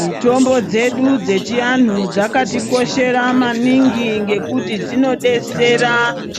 Mitombo dzedu dzechianu dzakatikoshera maningi ngekuti dzinodetsera